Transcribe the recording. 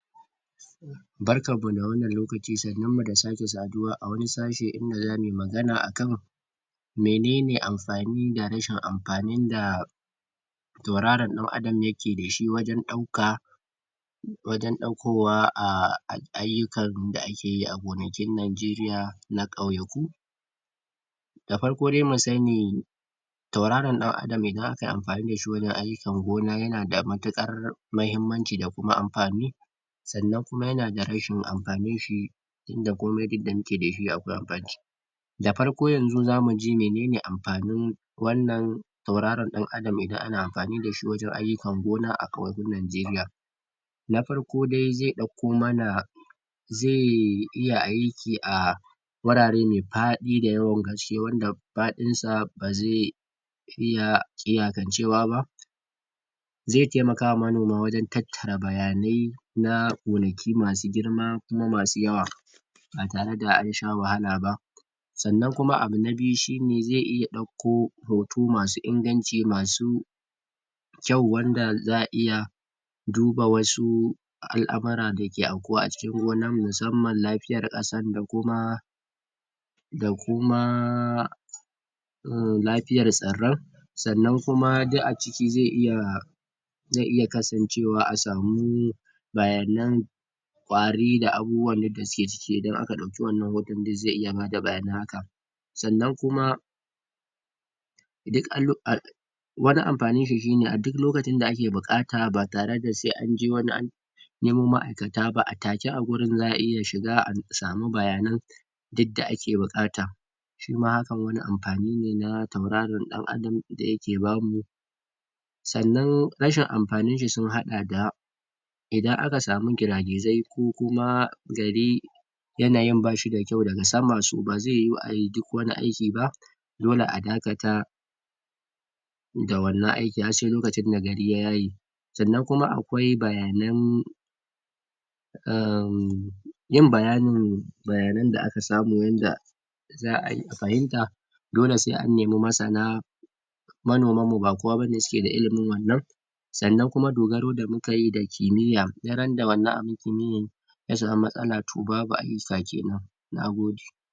Barkanmu da wannan lokaci, sannunmu da sake saduwa a wani sashi inda za mu yi magana akan menene amfani da rashin amfanin da tauraron ɗan adam yake dashi wajen ɗauka wajen ɗaukowa a ayyukan da akeyi a gonakin Nigeria na ƙauyaku da farko dai mu sani tauraruwa da akayi amfani dashi wajen ayyukan gona yanada matuƙar mahimmanci da kuma amfani sannan kuma yana da rashin amfani tunda komai duk da muke dashi akwai da farko yanzu zamu ji menene amfanin wannnan tauraron ɗan adam idan ana amfani dashi wajen ayyukan gona ƙauyakun Nigeria na farko da zai ɗauko mana zai iya aiki a wurare mai faɗi da yawan ƙarshe wanda faɗinsa ba zai iya iyakancewa ba zai taimaka ma manoma wajen tattara bayanai kuma gonaki masu girma kuma masu yawa ba tare da an sha wahala ba sannan kuma abu na biyu shine zai iya ɗauko hoto masu inganci, masu kyau wanda za'a iya duba wasu al'amura dake aukuwa a cikin gona musamman lafiyar ƙasar da kuma da kuma lafiyar tsirran sannan kuma duk a ciki zai iya zai iya kasancewa a samu bayanan kwari da abubuwan yanda suke ciki, idan aka ɗauki wannan wuri zai iya bada bayanan haka sannan kuma duk wani amfanin shi shine a duk lokacin da ake buƙata ba tare da sai an je wani nemo ma'aikata ba a take a wurin za'a iya shiga a samu bayanan yadda ake buƙata shima hakan wani amfani ne na tauraron ɗan adam da yake bamu sannan rashin amfanin shi sun haɗa da idan aka samu gira-gizai kuma gari yanayin bashi da kyau daga sama ba zai yiwu a yi duk wani aiki ba dole a dakata da wannan aiki har sai lokacin da gari ya yaye sannan kuma akwai bayanan uhm yin bayanin bayanan da aka samu wanda za a fahimta dole sai an nemi masana manomanmu ba kowa ba ne suke da sannan kuma dogaro da muka yi da kimiyya duk randa wannan abun kimiyya ya samu matsala babu ayyuka kenan, nagode.